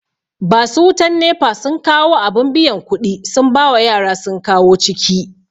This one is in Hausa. Basu wutan NEPA sun kawu abin biyan kuɗi sun bawa yara sun kawo ciki